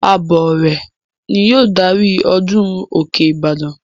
Abọrẹ̀ ni yóò darí ọdún òkè ìbàdàn.